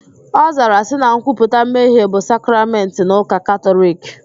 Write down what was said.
Ọ zara sị na nkwuputa mmehie bụ sakramentị n'ụka Katọliki